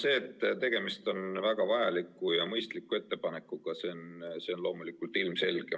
See, et tegemist on väga vajaliku ja mõistliku ettepanekuga, on loomulikult ilmselge.